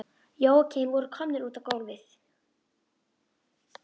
Jóakim voru komnir út á gólfið.